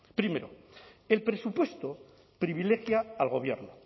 primero el presupuesto privilegia al gobierno